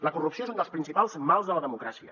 la corrupció és un dels principals mals de la democràcia